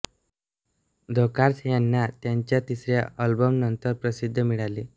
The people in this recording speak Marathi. द कॉर्स ह्यांना त्यांच्या तिसऱ्या अल्बमनंतर प्रसिद्धी मिळाली